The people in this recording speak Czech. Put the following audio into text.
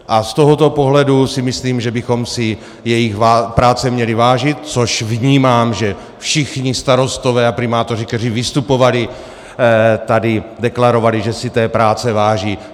A z tohoto pohledu si myslím, že bychom si jejich práce měli vážit, což vnímám, že všichni starostové a primátoři, kteří vystupovali tady, deklarovali, že si té práce váží.